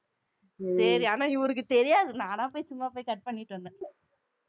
சரி, ஆனா இவருக்கு தெரியாது. நானா போய் சும்மா போய் cut பண்ணிட்டு வந்தேன்.